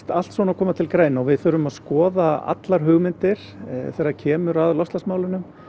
allt svona koma til greina og við þurfum að skoða allar hugmyndir þegar kemur að loftslagsmálum